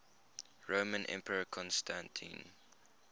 roman emperor constantine